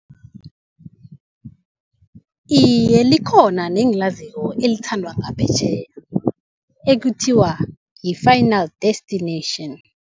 Iye, likhona nengilaziko elithandwa ngaphetjheya, ekuthiwa yi-final destination.